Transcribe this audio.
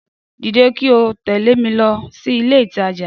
Dìde kí o tẹ̀lẹ́ mi lọ sí ilé ìtajà